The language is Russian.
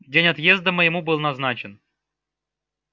день отъезда моему был назначен